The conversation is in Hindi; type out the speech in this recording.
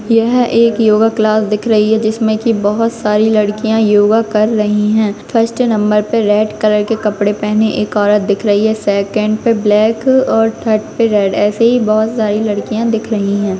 यह एक योगा क्लास दिख रही है जिसमें की बहुत सारी लड़कियां योगा कर रही है फर्स्ट नंबर पे रेड कलर के कपड़े पेहने एक औरत दिख रही है सेकंड पे ब्लैक और थर्ड पे रेड ऐसी ही बहुत सारी लडकियां दिख रही है।